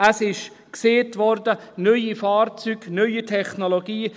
Es wurde gesagt: neue Fahrzeuge, neue Technologie.